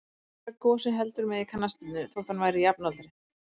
Ekki var Gosi heldur með í knattspyrnunni, þótt hann væri jafnaldri